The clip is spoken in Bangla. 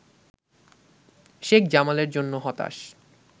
শেখ জামালের জন্য হতাশ